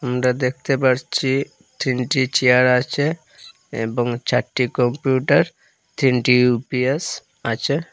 আমরা দেখতে পারছি তিনটি চেয়ার আছে এবং চারটি কম্পিউটার তিনটি ইউ_পি_এস আছে।